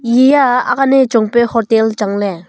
e a aak ane chong pe hotel changle.